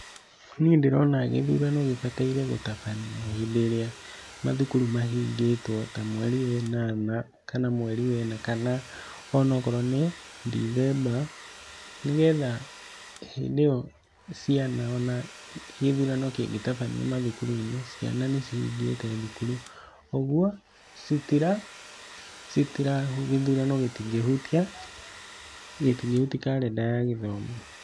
Niĩ ndĩrona gĩthurano gĩbataire gũtabanio rĩria macukuru mahingĩtwo ta mweri we nana kana mweri wena kana ono ngorwo nĩ ndithemba ,nĩgetha hĩndĩ ĩyo ciana ona gĩthũrano kĩngĩ tabanio macukuru-inĩ ciana nĩ cihigite cukuru ũgũo gĩthũrano gĩtĩngĩhũtia karenda ya gĩthomo.